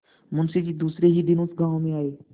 मुँशी जी दूसरे ही दिन उस गॉँव में आये